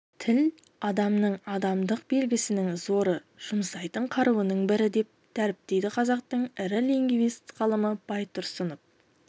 тіл адамның адамдық белгісінің зоры жұмсайтын қаруының бірі деп дәріптейді қазақтың ірі лингвист ғалымы байтұрсынов